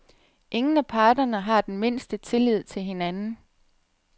Ingen af parterne har den mindste tillid til hinanden.